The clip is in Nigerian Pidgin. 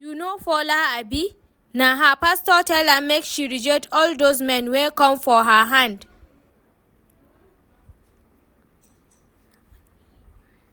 You know Fola abi? Na her pastor tell am make she reject all doz men wey come for her hand